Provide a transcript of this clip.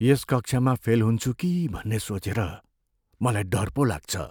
यस कक्षामा फेल हुन्छु कि भन्ने सोचेर मलाई डर पो लाग्छ।